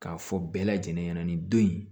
K'a fɔ bɛɛ lajɛlen ɲɛna ni don in